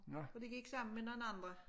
Og de gik sammen med nogen andre